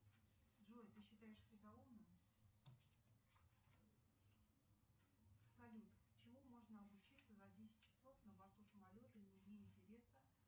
джой ты считаешь себя умным салют чему можно обучиться за десять часов на борту самолета не имея интереса